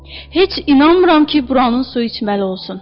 Heç inanmıram ki, buranın suyu içməli olsun.